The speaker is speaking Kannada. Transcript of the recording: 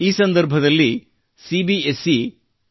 ಈ ಸಂದರ್ಭದಲ್ಲಿ ಸಿ ಬಿ ಎಸ್ ಇ ಅಃSಇ ಯು ಒಂದು ಉತ್ತಮ ಹೆಜ್ಜೆಯನ್ನಿಟ್ಟಿದೆ